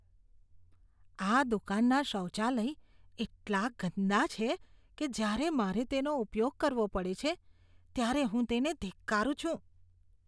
આ દુકાનના શૌચાલય એટલા ગંદા છે કે જ્યારે મારે તેનો ઉપયોગ કરવો પડે છે, ત્યારે હું તેને ધિક્કારું છું.